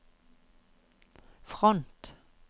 front